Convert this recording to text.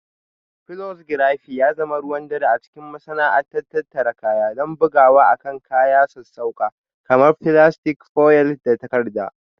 Flexography ya zama ruwan dare a cikin masana'antar tattara kaya don bugawa akan kayan sassauƙa kamar filastik, foil, da takarda